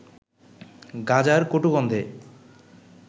গাঁজার কটু গন্ধে